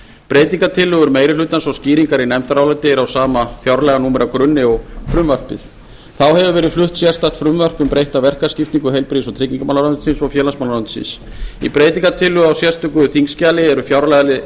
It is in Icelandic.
breytingartillögur meiri hlutans og skýringar í nefndaráliti eru á sama fjárlaganúmeragrunni og frumvarpið þá hefur verið flutt sérstakt frumvarp um breytta verkaskiptingu heilbrigðis og tryggingamálaráðuneytisins og félagsmálaráðuneytisins í breytingartillögu á sérstöku þingskjali eru fjárlagaliðir